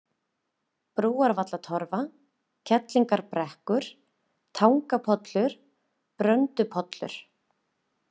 Brúarvallatorfa, Kerlingarbrekkur, Tangapollur, Bröndupollur